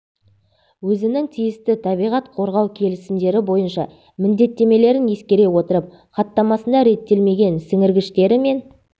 өзінің тиісті табиғат қорғау келісімдері бойынша міндеттемелерін ескере отырып хаттамасында реттелмеген сіңіргіштері мен